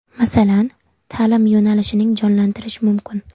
Masalan, ta’lim yo‘nalishini jonlantirish mumkin.